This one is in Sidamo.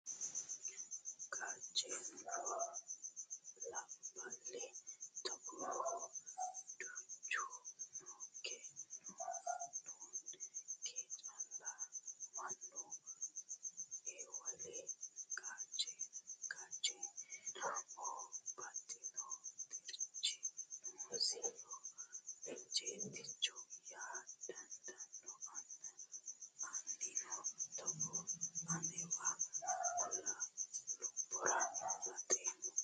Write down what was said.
Gachenu no labbali togoohu duuchu noonke, kone kae calla mannu ewelli gachenammoho baxxino xirchi noosiho ejjeettichaho yaa dandaano anino togo annuwa lubbora baxeemmo.